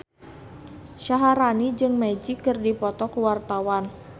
Syaharani jeung Magic keur dipoto ku wartawan